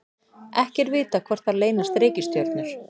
ekki er vitað hvort þar leynast reikistjörnur